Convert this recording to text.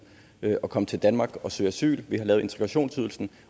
at komme til danmark og søge asyl vi har lavet integrationsydelsen